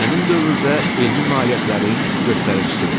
həmin dövrdə elmi nailiyyətlərin göstəricisidir.